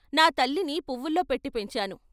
నా తల్లిని పువ్వుల్లో పెట్టి పెంచాను.